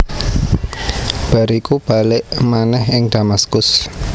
Bar iku balik manèh ing Damaskus